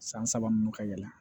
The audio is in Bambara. San saba ninnu ka yɛlɛ